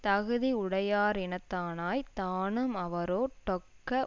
தகுதியுடையா ரினத்தானாய்த் தானும் அவரோ டொக்க